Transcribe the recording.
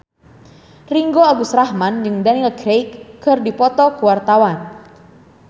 Ringgo Agus Rahman jeung Daniel Craig keur dipoto ku wartawan